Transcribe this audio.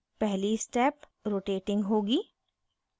पहली step rotating rotating होगी